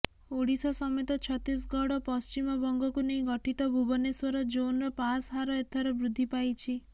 ଓଡ଼ିଶା ସମେତ ଛତିଶଗଡ଼ ଓ ପଶ୍ଚିମବଙ୍ଗକୁ ନେଇ ଗଠିତ ଭୁବନେଶ୍ବର ଜୋନ୍ର ପାସ୍ହାର ଏଥର ବୃଦ୍ଧି ପାଇଛି